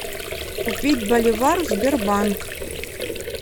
купить боливар сбербанк